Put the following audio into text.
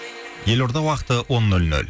елорда уақыты он нөл нөл